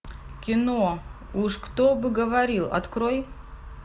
кино уж кто бы говорил открой